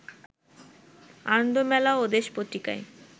আনন্দমেলা ও দেশ পত্রিকায়